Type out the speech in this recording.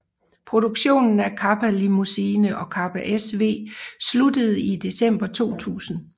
Produktionen af Kappa Limousine og Kappa SW sluttede i december 2000